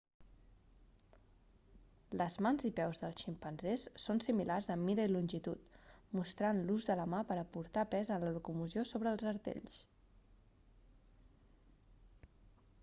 les mans i peus dels ximpanzés són similars en mida i longitud mostrant l'ús de la mà per a portar pes en la locomoció sobre els artells